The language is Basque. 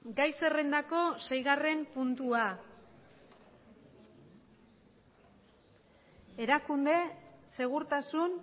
gai zerrendako seigarren puntua erakunde segurtasun